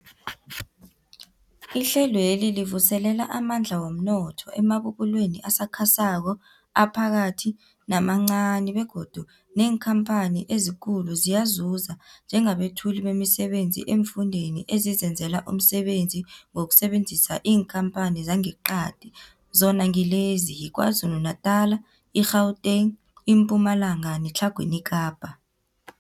Ihlelweli livuselela amandla womnotho emabubulweni asakhasako, aphakathi namancani begodu neenkhamphani ezikulu ziyazuza njengabethuli bemisebenzi eemfundeni ezizenzela umsebenzi ngokusebenzisa iinkhamphani zangeqadi, zona ngilezi, yiKwaZulu-Natala, i-Gauteng, iMpumalanga neTlhagwini Kapa.